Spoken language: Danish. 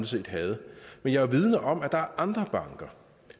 set havde men jeg er vidende om at der er andre banker